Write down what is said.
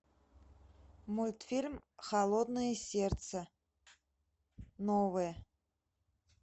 мультфильм холодное сердце новое